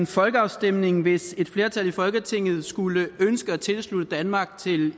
folkeafstemning hvis et flertal i folketinget skulle ønske at tilslutte danmark